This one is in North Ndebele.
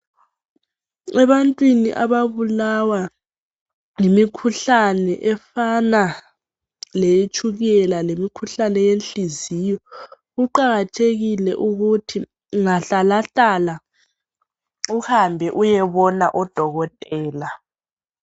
ebantwini ababulawa yimikhuhlane efaa leye tshukela lemikhuhlane yenhliziyo kuqakathekile ukuthi ungahlalahlala uhambe uyebona odokotela